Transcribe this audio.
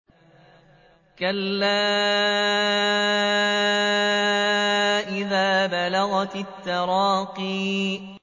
كَلَّا إِذَا بَلَغَتِ التَّرَاقِيَ